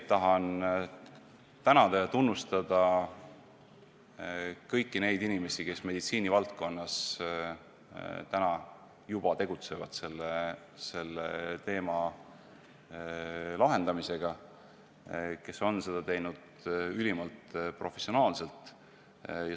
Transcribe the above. Tahan tänada ja tunnustada kõiki neid inimesi, kes täna meditsiinivaldkonnas selle probleemi lahendamise nimel juba tegutsevad ning kes on teinud seda ülimalt professionaalselt.